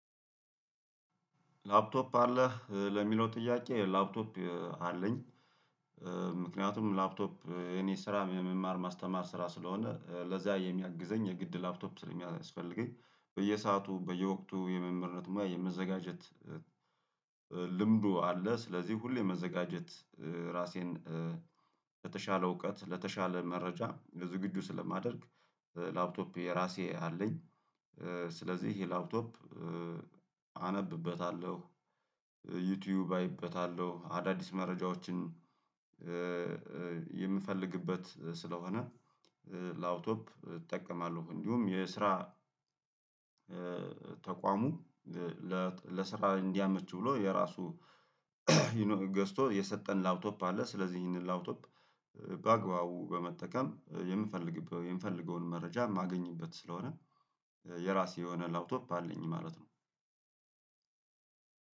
ላፕቶፕ አለ ለሚለው ጥያቄ ላፕቶፕ አለኝ። ምክንያቱም ላፕቶፕ እኔ የራ የመማር ማስተማር ስራ ስለሆነ ለዛ የሚያግዘኝ የግድ ላፕቶፕ ስለሚያስፈልገኝ በየሰአቱ በየወቅቱ የመምህርነት የመዘጋጀት ልምዱ አለ ስለዚህ ሁሌ መዘጋጀት ራሴን ለተሻለ እውቀት ለተሻለ መረጃ ለዝግጁ ስለማደርግ ላፕቶፕ የራሴ አለኝ። ስለዚህ ይሄ ላፕቶፕ አነብበታለሁ ዩቱዩብ አይበታለሁ አዳዲስ መረጃዎችን የምፈልግበት ስለሆነ ለአውቶፕ እጠቀማለሁ እንዲሁም የስራ ተቋሙ ለስራ እንዲያመች ብሎ የራሱ ገዝቶ የሰጠን ላውቶፕ አለ። ስለዚህ ይሄንን ላውቶፕ በአግባቡ በመጠቀም የምፈልግበት የምፈልገውን መረጃ የማገኝበት ስለሆነ የራሴ የሆነ ላብቶብፕ አለኝ ማለት ነው።